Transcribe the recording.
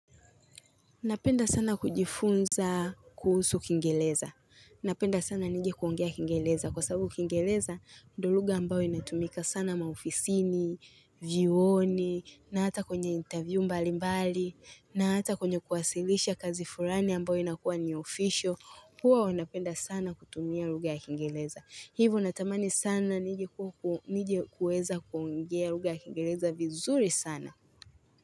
Napenda sana kujifunza kuhusu kingereza. Napenda sana nijekuongea kingereza. Kwa sababu kingereza, ndio lugha ambayo inatumika sana maofisini, vyuoni, na hata kwenye interview mbalimbali, na hata kwenye kuwasilisha kazi fulani ambayo inakuwa ni official. Huwa wanapenda sana kutumia lugha ya kingereza. Hivo natamani sana nije kuweza kuongea lugha ya kingereza vizuri sana.